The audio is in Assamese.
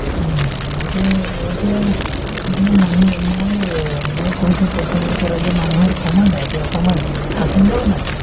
উম, এইটোয়ে এতিয়া মানে মানুহ মই এই মই কৈছো প্ৰথমৰ পৰাই যে মানুহৰ সময় নাই এতিয়া সময় নাই থাকিলেও নাই